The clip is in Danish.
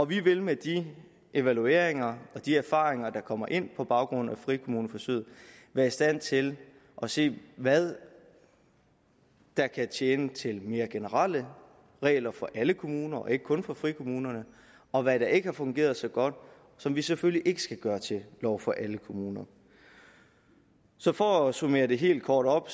vi vil med de evalueringer og de erfaringer der kommer ind på baggrund af frikommuneforsøgene være i stand til at se hvad der kan tjene til mere generelle regler for alle kommuner og ikke kun for frikommunerne og hvad der ikke har fungeret så godt som vi selvfølgelig ikke skal gøre til lov for alle kommuner så for at summere det helt kort op